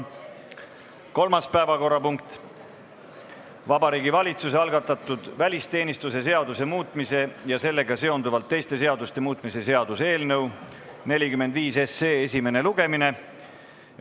Kolmas päevakorrapunkt on Vabariigi Valitsuse algatatud välisteenistuse seaduse muutmise ja sellega seonduvalt teiste seaduste muutmise seaduse eelnõu 45 esimene lugemine.